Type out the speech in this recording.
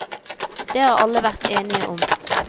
Det har alle vært enige om.